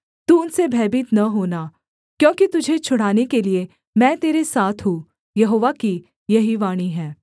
तू उनसे भयभीत न होना क्योंकि तुझे छुड़ाने के लिये मैं तेरे साथ हूँ यहोवा की यही वाणी है